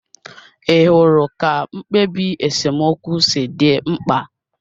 Ị hụrụ ka mkpebi esemokwu si dị mkpa?